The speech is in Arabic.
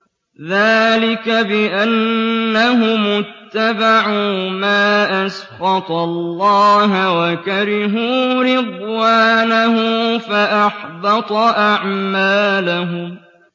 ذَٰلِكَ بِأَنَّهُمُ اتَّبَعُوا مَا أَسْخَطَ اللَّهَ وَكَرِهُوا رِضْوَانَهُ فَأَحْبَطَ أَعْمَالَهُمْ